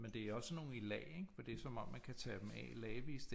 Men det er også sådan nogle i lag ikke for det er som om man kan tage dem af i lagvist